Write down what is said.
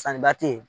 Sannibaa te yen